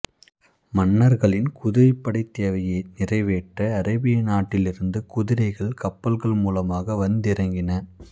மன்னர்களின் குதிரைப்படைத் தேவையை நிறைவேற்ற அரேபிய நாட்டிலிருந்து குதிரைகள் கப்பல்கள் மூலமாக வந்திறங்கின